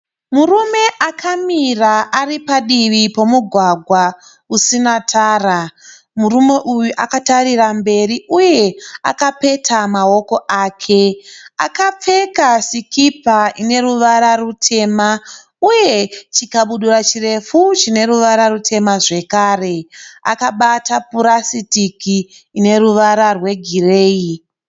Murume akamira aripadivi pemugwagwa usinatara. Murume uyu akatarira mberi uye akapeta maoko ake. Akapfeka sikipa ineruvara rutema uye chikabudura chirefu chine ruvara rutema zvakare. Akabata purasitiki ine ruvara rwegireyi.